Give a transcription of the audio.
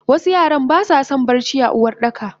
Wasu yaran basason bacci a Uwardaka.